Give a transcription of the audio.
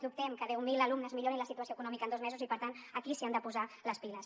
dubtem que deu mil alumnes millorin la situació econòmica en dos mesos i per tant aquí s’hi han de posar les piles